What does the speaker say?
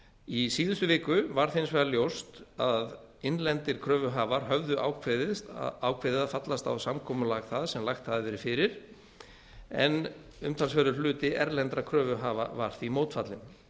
í síðustu viku varð hins vegar ljóst að innlendir kröfuhafar höfðu ákveðið að fallast á samkomulag það sem lagt hafði verið fyrir en umtalsverðar hluti erlendra kröfuhafa var því mótfallinn